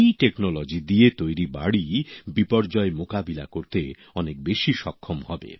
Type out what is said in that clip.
এই প্রযুক্তি দিয়ে তৈরি বাড়ি বিপর্যয় মোকাবিলা করতে অনেক বেশি সক্ষম হবে